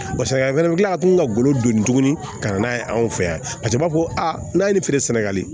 Barisa a fɛnɛ bɛ kila ka tila ka golo don tuguni ka na n'a ye anw fɛ yan paseke u b'a fɔ ko a n'a ye nin feere sɛnɛgali